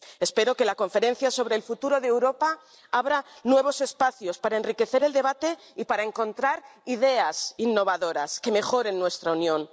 Espero que la conferencia sobre el futuro de Europa abra nuevos espacios para enriquecer el debate y para encontrar ideas innovadoras que mejoren nuestra Unión.